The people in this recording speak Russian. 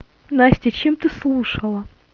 настя чем ты слушала